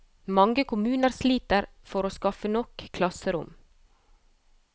Mange kommuner sliter for å skaffe nok klasserom.